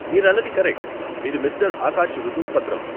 మీరన్నది కరెక్ట్ , ఇది మిస్టర్ ఆకాష్ రుజువు పత్రం.